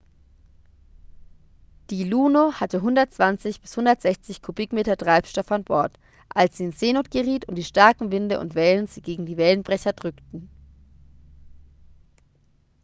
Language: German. "die "luno" hatte 120-160 kubikmeter treibstoff an bord als sie in seenot geriet und die starken winde und wellen sie gegen die wellenbrecher drückten.